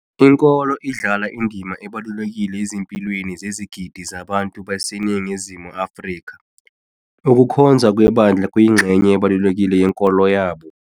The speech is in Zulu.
Inkolo idlala indima ebalulekile ezimpilweni zezigidi zabantu baseNingizimu Afri ka, ukukhonza kwebandla kuyingxenye ebalulekile yenkolo yabo.